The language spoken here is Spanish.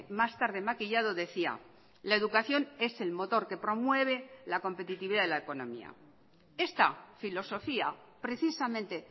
más tarde maquillado decía la educación es el motor que promueve la competitividad de la economía esta filosofía precisamente